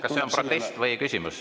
Kas see on protest või küsimus?